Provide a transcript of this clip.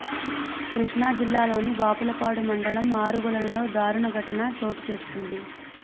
కృష్ణా జిల్లాలోని బాపులపాడు మండలం ఆరుగొలనులో దారుణ ఘటన చోటు చేసుకుంది